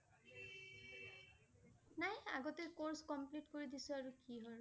নাই আগতে course complete কৰি দিছোঁ আৰু কি হল